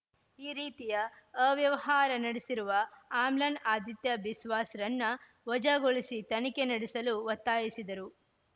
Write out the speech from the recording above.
ಈ ರೀತಿಯ ಅವ್ಯವಹಾರ ನಡೆಸಿರುವ ಆಮ್ಲಾನ್‌ ಆದಿತ್ಯ ಬಿಸ್ವಾಸ್‌ರನ್ನ ವಜಾಗೊಳಿಸಿ ತನಿಖೆ ನಡೆಸಲು ಒತ್ತಾಯಿಸಿದರು